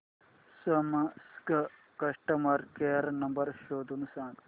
Samsung customer care number शोधून सांग